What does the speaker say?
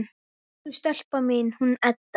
Elsku stelpan mín, hún Edda!